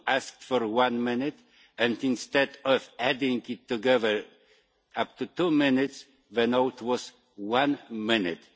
You asked for one minute and, instead of adding it together to make two minutes, the note was one minute.